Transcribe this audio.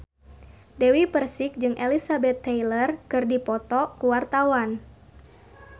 Dewi Persik jeung Elizabeth Taylor keur dipoto ku wartawan